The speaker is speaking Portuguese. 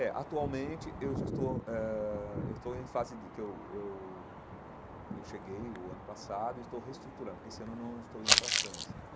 É, atualmente, eu já estou eh eu estou em fase de... que eu eu eu cheguei o ano passado e estou reestruturando, porque esse ano eu não estou indo para a França ãh.